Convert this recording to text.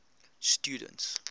students